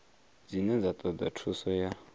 dzine dza toda thuso ya